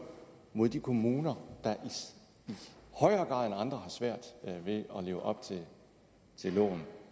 mod de kommuner der i højere grad end andre har svært ved at leve op til loven